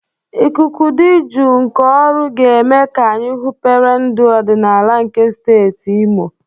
Ikuku dị jụụ nke Oru ga-eme ka anyị hụpere ndụ ọdịnala nke steeti Imo.